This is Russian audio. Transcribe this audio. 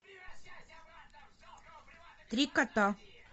три кота